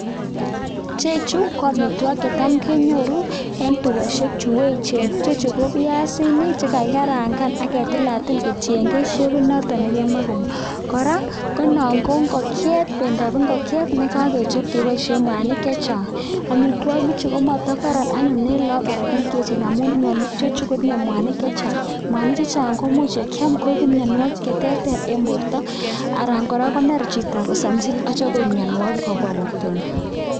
chu ko amitwokik checham kenyoru ing tukoshek chu echen piasik chekakitil kokarkaituke no kopendap ngogjet nekakichape mwanik chechang amitwokik chu komatakaran ing lakok amun tinye mwanik chechang koya ing portap chii ako much koip korotwek.